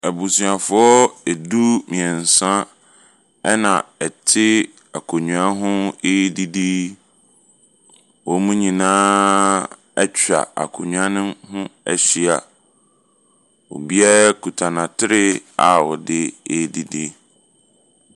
Abusuafoɔ du-mmeɛnsa na wɔte akonnwa ho redidi. Wɔn nyinaa atwa akonnwa no ho ahyia. Obiara kuta n'atare a ɔde redidi.